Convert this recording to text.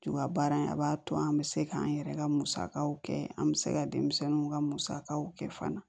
baara in a b'a to an bɛ se k'an yɛrɛ ka musakaw kɛ an bɛ se ka denmisɛnninw ka musakaw kɛ fana